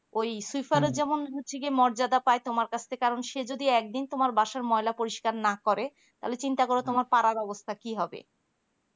ওই swiper এর যেমন হচ্ছে কি মর্যাদা পাই তোমার কাছে থেকে কারণ সে যদি একদিন তোমার বাসায় ময়লা পরিষ্কার না করে তাহলে চিন্তা করো তোমার পাড়ার অবস্থা কি হবে